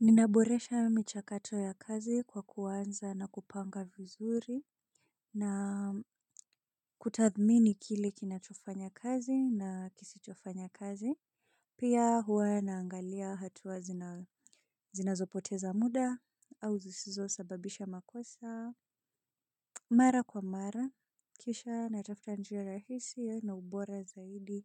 Ninaboresha michakato ya kazi kwa kuanza na kupanga vizuri na kutathmini kile kinachofanya kazi na kisichofanya kazi. Pia huwa naangalia hatua zinazopoteza muda au zisizo sababisha makosa. Mara kwa mara, kisha natafuta njia rahisi na ubora zaidi